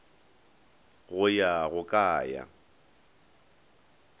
go ya go ka ya